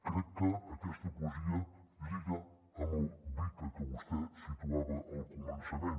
crec que aquesta poesia lliga amb el vuca que vostè situava al començament